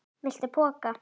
Viltu poka?